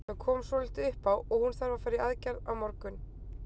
Það kom svolítið upp á og hún þarf að fara í aðgerð á morgun.